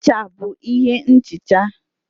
Ncha bụ ihe nhicha.